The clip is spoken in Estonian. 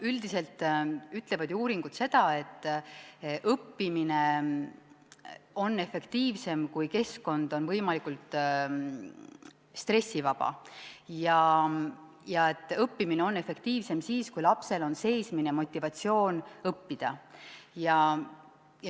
Üldiselt ütlevad ju uuringud seda, et õppimine on efektiivsem, kui keskkond on võimalikult stressivaba, ja õppimine on efektiivsem siis, kui lapsel on seesmine motivatsioon õppida.